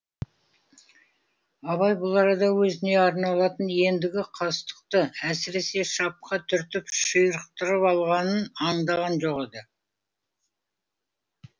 абай бұл арада өзіне арналатын ендігі қастықты әсіресе шапқа түртіп ширықтырып алғанын аңдаған жоқ еді